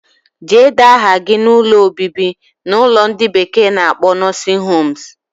Jee dee aha gi na ụlọ obibi na ulo ndi bekee na akpo nursing homes.